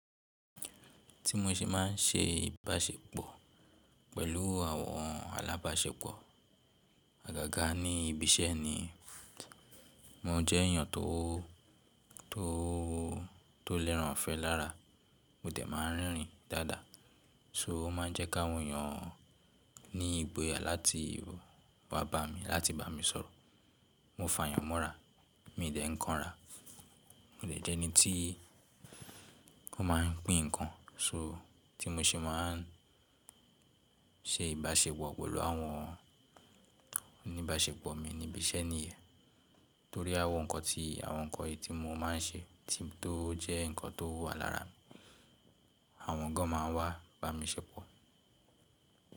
Tí mo ṣe má n ṣe ìbáṣepọ̀ pẹ̀lú àwọn alábáṣepọ̀, àgàgà ní ibi iṣẹ́ ni. Mo jẹ́ èyàn tó lẹ́ràn ifẹ́ lára, mo dẹ̀ má n rerìn dáadáa. So o ma n jẹ́ ki áwọn eeyàn ní ìgboyà láti wá bá mi, láti bá mi sọ̀rọ̀. Mo fàyàn mọ́ra, mi i dẹ̀ ń kanra. Mo dẹ̀ jẹ́ ẹni tí ko má n pín ǹkan. So tí mo ṣe má n ṣe ìbáṣepọ̀ pẹ̀lú àwọn oníbáṣepọ̀ mi ní ibi iṣẹ́ níyen. Torí àwọn ǹkan tí, àwọn ǹkan iyí tí mo má n ṣe tó jẹ́ nǹkan tó wà lára mi, àwọn gan má n wá bá mi ṣepọ̀.